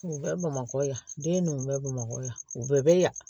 U bɛ bamakɔ yan den ninnu bɛ bamakɔ yan u bɛɛ bɛ yan